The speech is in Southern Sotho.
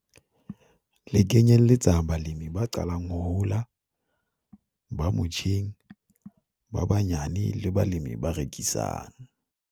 Le kenyelletsa balemi ba qalang ho hola, ba motjheng, ba banyane le balemi ba rekisang.